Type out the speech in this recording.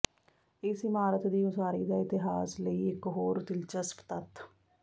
ਇਸ ਇਮਾਰਤ ਦੀ ਉਸਾਰੀ ਦਾ ਇਤਿਹਾਸ ਲਈ ਇਕ ਹੋਰ ਦਿਲਚਸਪ ਤੱਥ